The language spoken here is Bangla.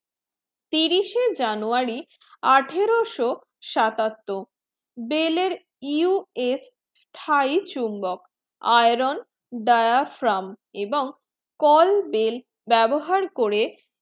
তিরিশে january আঠারোশো সাতাত্তর বেল্US thai চুম্বক iron dryer from এবং call bell ব্যবহার করে